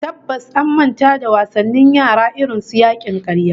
Tabbas an manta da wasannin yara irin su yakin karya